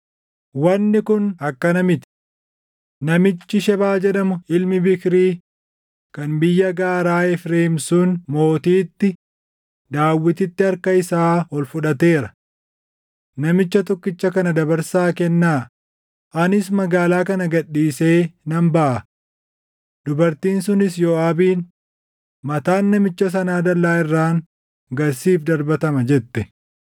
Wanni kun akkana miti. Namichi Shebaa jedhamu ilmi Biikrii kan biyya gaaraa Efreem sun mootiitti, Daawititti harka isaa ol fudhateera. Namicha tokkicha kana dabarsaa kennaa; anis magaalaa kana gad dhiisee nan baʼa.” Dubartiin sunis Yooʼaabiin, “Mataan namicha sanaa dallaa irraan gad siif darbatama” jette.